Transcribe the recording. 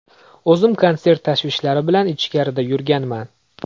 O‘zim konsert tashvishlari bilan ichkarida yurganman.